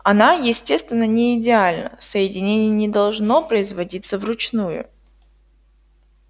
она естественно не идеальна соединение не должно производиться вручную